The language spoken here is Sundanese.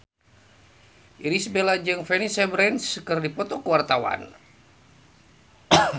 Irish Bella jeung Vanessa Branch keur dipoto ku wartawan